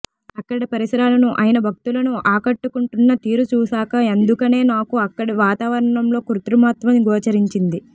అక్కడి పరిసరాలను అయన భక్తులను ఆకట్టుకుంటున్న తీరు చూశాక ఎందుకనో నాకు అక్కడి వాతావరణంలో కృత్రిమత్వం గోచరించింది